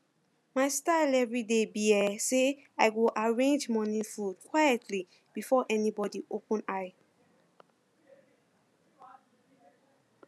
my style everyday be um say i go arrange morning food quietly before anybody open eye